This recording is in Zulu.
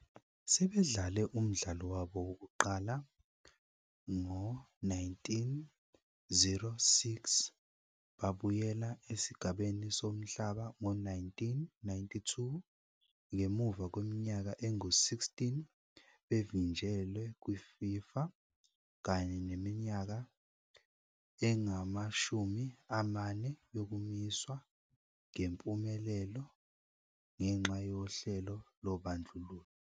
Sebedlale umdlalo wabo wokuqala ngo-1906, babuyela esigabeni somhlaba ngo-1992, ngemuva kweminyaka engu-16 bevinjelwe kwiFIFA, kanye neminyaka engama-40 yokumiswa ngempumelelo ngenxa yohlelo lobandlululo.